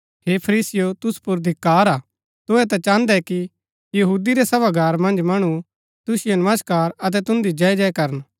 हे फरीसीयों तुसु पुर धिक्‍कार हा तुहै ता चाहन्दै कि यहूदी रै सभागार मन्ज मणु तुसिओ नमस्कार अतै तुन्दी जय जय करन